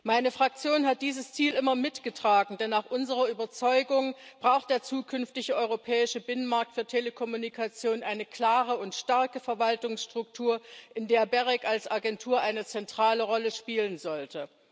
Meine Fraktion hat dieses Ziel immer mitgetragen, denn nach unserer Überzeugung braucht der zukünftige europäische Binnenmarkt für Telekommunikation eine klare und starke Verwaltungsstruktur, in der das GEREK als Agentur eine zentrale Rolle spielen sollte.